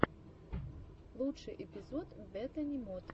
лучший эпизод бетани моты